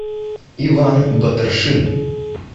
иван батаршин